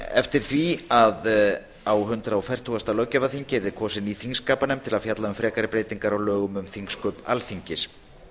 eftir því að á hundrað fertugasta löggjafarþingi yrði kosin ný þingskapanefnd til að fjalla um frekari breytingar á lögum um þingsköp alþingis